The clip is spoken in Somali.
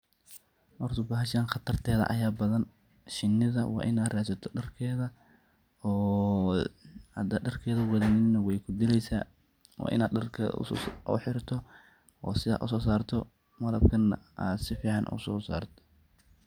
Horta bahashan qatardeda ayaa badan , Shinidaa waa inaad radsataa darkeda oo hadad darkeeda wadanin wey ku dileysaa waa inaad darkeda aad u xirato oo sidha aad uso sarto malabkana aad si fican aad uso sarto.